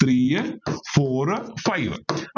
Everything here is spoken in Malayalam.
three four five